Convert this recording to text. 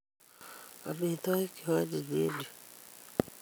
amitwogik cheonyiny eng yu